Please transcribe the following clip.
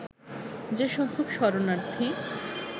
যে সংখ্যক শরণার্থী